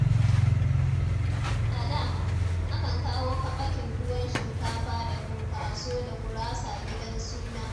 A da, akan kawo kaɓakin tuwon shinkafa da funkaso da gurasa gidan suna.